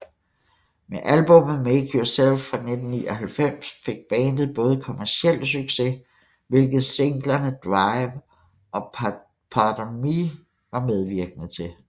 Med albummet Make Yourself fra 1999 fik bandet både kommercielt succes hvilket singlerne Drive og Pardon Me var medvirkende til